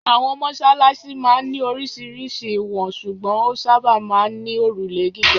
Àwọn mọ́ṣáláṣí máa ń ní oríṣiríṣi ìwọ̀n ṣùgbọ́n ó sábà máa ń ní òrùlé gíga.